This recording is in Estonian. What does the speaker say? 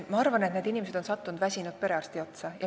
Ma arvan, et need inimesed on sattunud väsinud perearsti otsa.